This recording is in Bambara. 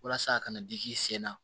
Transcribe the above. Walasa a kana digi i sen na